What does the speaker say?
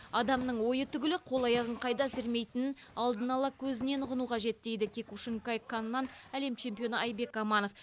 адамның ойы түгілі қол аяғын қайда сермейтінін алдын ала көзінен ұғыну қажет дейді киокушинкай каннан әлем чемпионы айбек аманов